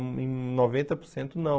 em noventa por cento não.